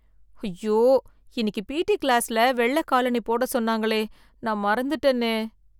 ஐயோ இன்னைக்கு P T கிளாஸ்ல வெள்ள காலனி போட சொன்னாங்களே நான் மறந்துட்டேனே